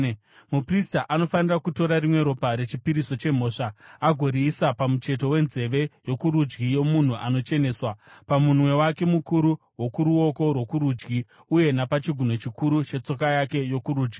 Muprista anofanira kutora rimwe ropa rechipiriso chemhosva agoriisa pamucheto wenzeve yokurudyi yomunhu anocheneswa, pamunwe wake mukuru wokuruoko rwokurudyi uye napachigunwe chikuru chetsoka yake yokurudyi.